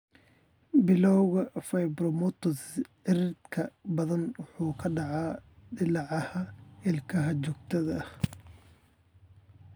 Bilawga fibromatosis cirridka badanaa wuxuu ku dhacaa dillaaca ilkaha joogtada ah.